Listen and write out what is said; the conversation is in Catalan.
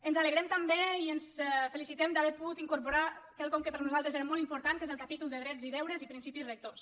ens alegrem també i ens felicitem d’haver pogut in·corporar quelcom que per nosaltres era molt impor·tant que és el capítol de drets i deures i principis rectors